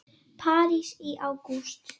París í ágúst